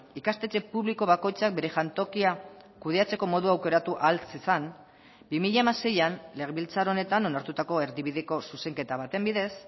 ikastetxe publiko bakoitzak bere jantokia kudeatzeko modua aukeratu ahal zezan bi mila hamaseian legebiltzar honetan onartutako erdibideko zuzenketa baten bidez